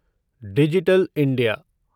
digital India